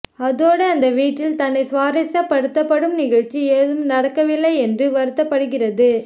அத்தோடு அந்த வீட்டில் தன்னை சுவாரஸ்யப்படுத்தும் நிகழ்ச்சி எதுவும் நடக்கவில்லை என்று வருத்தபடுகிறது